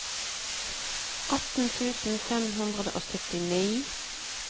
atten tusen fem hundre og syttini